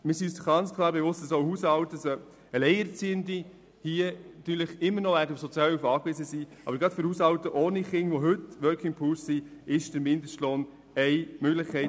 Wir sind uns bewusst, dass Alleinerziehende immer noch auf Sozialhilfe angewiesen sein werden, doch gerade für Haushalte ohne Kinder, die heute zu den Working Poor gehören, ist der Mindestlohn eine Möglichkeit.